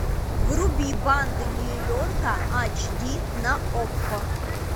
вруби банды нью йорка айч ди на окко